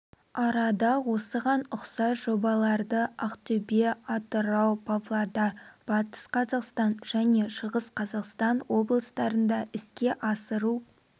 арада осыған ұқсас жобаларды ақтөбе атырау павлодар батыс қазақстан және шығыс қазақстан облыстарында іске асыру